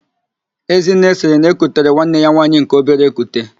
Ezinne sịrị na-ekutere nwanne ya nwaanyị nke obere ekute.